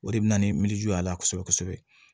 O de bɛ na ni miiri y'a la kosɛbɛ kosɛbɛ